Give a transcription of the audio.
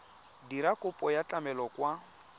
dira kopo ya tlamelo kwa